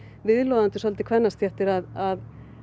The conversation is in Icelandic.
viðloðandi kvennastéttir að